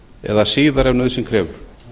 eða síðar ef nauðsyn krefur